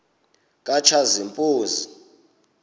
katshazimpuzi